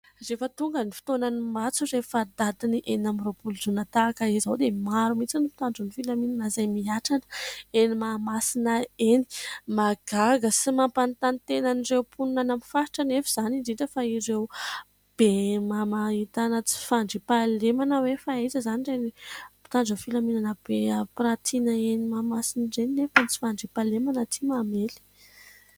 Rehefa tonga ny fotoanan'ny matso rehefa datin'ny enina amby roapolo jona tahaka izao, dia maro mihitsy ny mpitandro ny filaminana izay mihatrana eny Mahamasina eny. Mahagaga sy mampanontany tena ireo mponina any amin'ny faritra anefa izany, indrindra fa ireo be ahitana tsy fandriam-pahalemana hoe : fa aiza izany ireny mpitandro ny filaminana be ampirantiana eny Mahamasina ireny nefa ny tsy fandriam-pahalemana aty mamely.